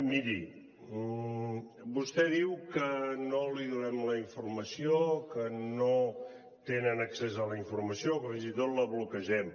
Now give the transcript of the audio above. miri vostè diu que no li donem la informació que no tenen accés a la informació que fins i tot la bloquegem